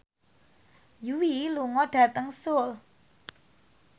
Yui lunga dhateng Seoul